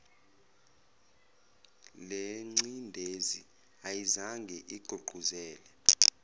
lencindezi ayizange igqugquzele